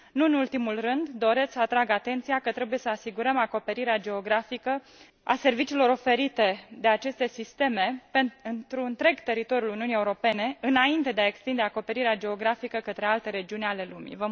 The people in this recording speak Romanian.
Nu în ultimul rând, doresc să atrag atenția că trebuie să asigurăm acoperirea geografică a serviciilor oferite de aceste sisteme pentru întreg teritoriul Uniunii Europene, înainte de a extinde acoperirea geografică către alte regiuni ale lumii.